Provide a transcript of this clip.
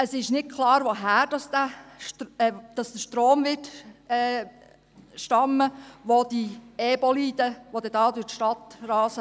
Es ist nicht klar, woher der Strom stammen wird, welchen diese EBoliden brauchen, die dann hier durch die Stadt rasen.